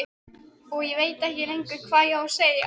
Og ég veit ekkert lengur hvað ég á að segja.